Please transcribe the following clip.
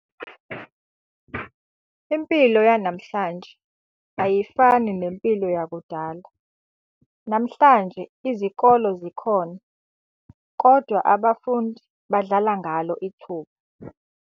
Impilo yanamhlanje ayifani nempilo yakudala, namhlanje izikolo Zikhona kodwa abafundi badlala ngalo ithuba.